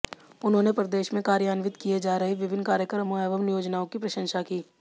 उन्होंने प्रदेश में कार्यान्वित किए जा रहे विभिन्न कार्यक्रमों एवं योजनाओं की प्रशंसा की